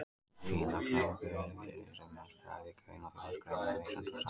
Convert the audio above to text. Félagsráðgjöf er því í senn fræðigrein og þjónustugrein, eða vísinda- og starfsgrein.